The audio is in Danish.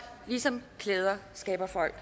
ligesom klæder skaber folk